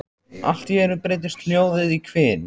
Allt í einu breytist hljóðið í hvin.